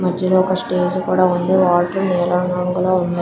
మధ్యలో ఒక స్టేజ్ కూడా ఉంది. వాటర్ నీలం రంగులో ఉన్నాయి.